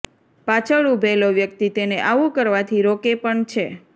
પાછળ ઉભેલો વ્યક્તિ તેને આવું કરવાથી રોકે પણ છે